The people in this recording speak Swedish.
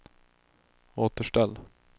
återställ